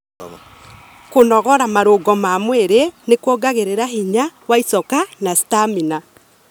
Kũnogora marũngo ma mwirĩ nĩ kuongagĩrira hinya wa icoka na stamina.